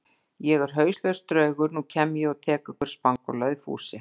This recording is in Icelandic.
Ég er hauslaus draugur, nú kem ég og tek ykkur spangólaði Fúsi.